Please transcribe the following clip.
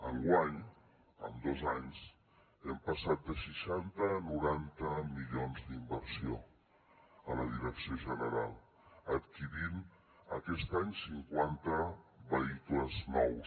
enguany en dos anys hem passat de seixanta a noranta milions d’inversió a la direcció general adquirint aquest any cinquanta vehicles nous